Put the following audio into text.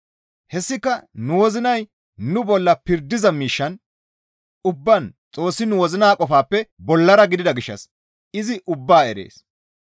Hessika nu wozinay nu bolla pirdiza miishshan ubbaan Xoossi nu wozina qofaappe bollara gidida gishshas izi ubbaa erees.